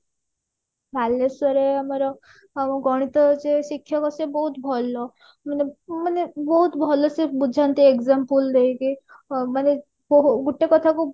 ବାଲେଶ୍ଵର ଆମର ଆମ ଗଣିତ ଯିଏ ଶିକ୍ଷକ ସେ ବହୁତ ଭଲ ମାନେ ମାନେ ବହୁତ ଭଲ ସେ ବୁଝାନ୍ତି example ଦେଇକି ମାନେ ଗୋଟେ କଥା କୁ